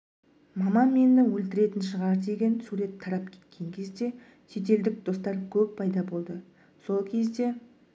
мамам мені өлтіретін шығар деген сурет тарап кеткен кезде шетелдік достар көп пайда болды сол кезде